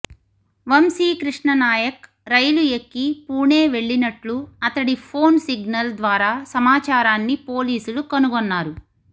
వంశీకృష్ణనాయక్ రైలు ఎక్కి పూణె వెళ్లినట్లు అతడి ఫోన్ సిగ్నల్ ద్వారా సమాచారాన్ని పోలీసులు కనుగొన్నారు